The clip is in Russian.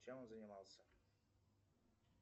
чем он занимался